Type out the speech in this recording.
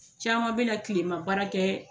Caman bɛna tilema baara kɛ.